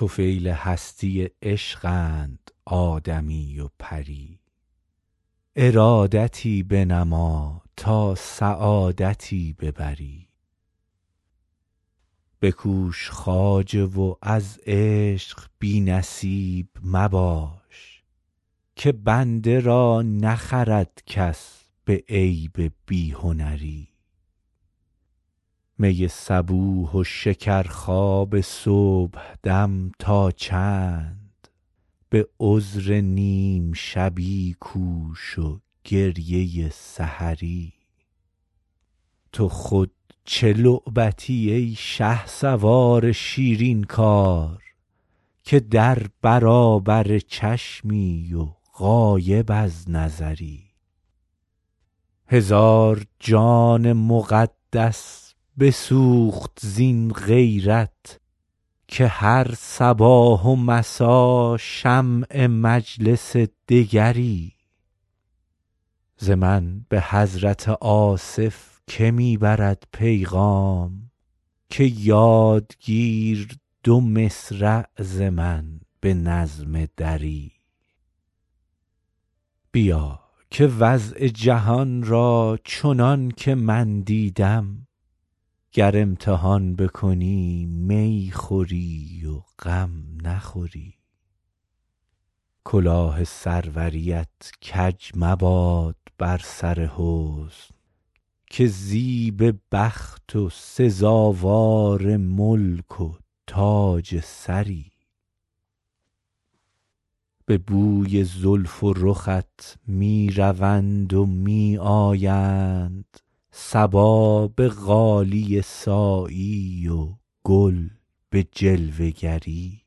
طفیل هستی عشقند آدمی و پری ارادتی بنما تا سعادتی ببری بکوش خواجه و از عشق بی نصیب مباش که بنده را نخرد کس به عیب بی هنری می صبوح و شکرخواب صبحدم تا چند به عذر نیم شبی کوش و گریه سحری تو خود چه لعبتی ای شهسوار شیرین کار که در برابر چشمی و غایب از نظری هزار جان مقدس بسوخت زین غیرت که هر صباح و مسا شمع مجلس دگری ز من به حضرت آصف که می برد پیغام که یاد گیر دو مصرع ز من به نظم دری بیا که وضع جهان را چنان که من دیدم گر امتحان بکنی می خوری و غم نخوری کلاه سروریت کج مباد بر سر حسن که زیب بخت و سزاوار ملک و تاج سری به بوی زلف و رخت می روند و می آیند صبا به غالیه سایی و گل به جلوه گری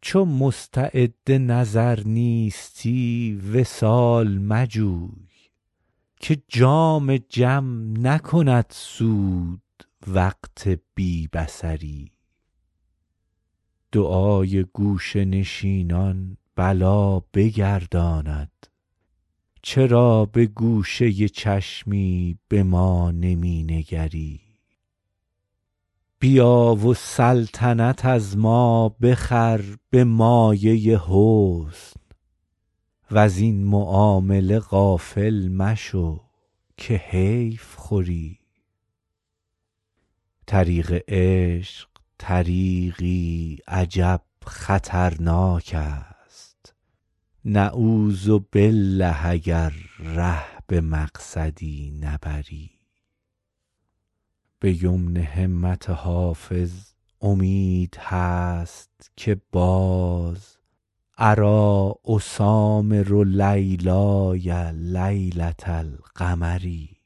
چو مستعد نظر نیستی وصال مجوی که جام جم نکند سود وقت بی بصری دعای گوشه نشینان بلا بگرداند چرا به گوشه چشمی به ما نمی نگری بیا و سلطنت از ما بخر به مایه حسن وزین معامله غافل مشو که حیف خوری طریق عشق طریقی عجب خطرناک است نعوذبالله اگر ره به مقصدی نبری به یمن همت حافظ امید هست که باز اریٰ اسامر لیلای لیلة القمری